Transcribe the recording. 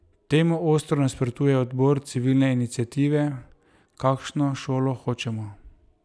Temu ostro nasprotuje odbor civilne iniciative Kakšno šolo hočemo.